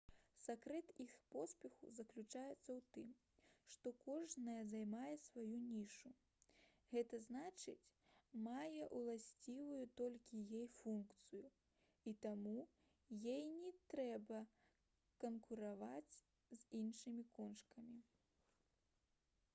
сакрэт іх поспеху заключаецца ў тым што кожная займае сваю нішу г зн мае ўласціваю толькі ёй функцыю і таму ёй не трэба канкурыраваць з іншымі кошкамі